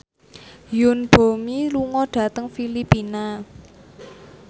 Yoon Bomi lunga dhateng Filipina